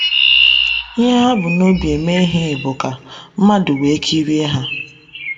Ihe ha bu n’obi eme ihe bụ ka “ mmadụ wee kirie ha. ”